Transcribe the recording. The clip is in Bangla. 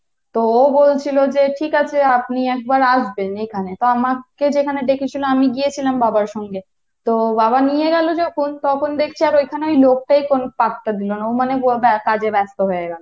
তো ও বলছিলো যে আপনি একবার আসবেন এখানে, তো আমাকে যেখানে দেখেছিলো আমি গিয়েছিলাম বাবার সঙ্গে তো বাবা নিয়ে গেলো যখন তখন দেখছি আর ঐখানে ওই লোকটাই আর কোনো পাত্তা দিলো না ও মনে কাজে ব্যস্ত হয়ে গেলো।